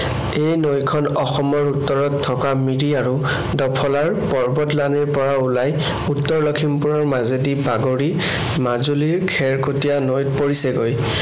এই নৈ খন অসমৰ উত্তৰত থকা মিৰি আৰু ডফলাৰ পৰ্বতলানিৰ পৰা ওলাই উত্তৰ লখিমপুৰৰ মাজেদি বাগৰি মাজুলীৰ খেৰকটীয়া নৈত পৰিছেগৈ।